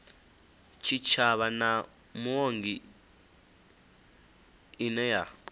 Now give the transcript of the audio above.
tshitshavha na muongi ine ya